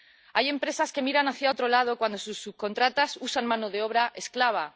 Hay empresas que miran hacia otro lado cuando sus subcontratas usan mano de obra esclava.